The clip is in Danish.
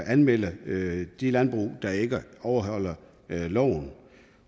at anmelde de landbrug der ikke overholder loven